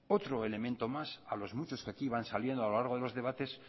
otro elemento más a los muchos que aquí van saliendo a lo largo de los debates